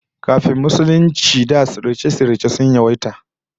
Kafin Musulunci da sihirce-sihirce sun yawaita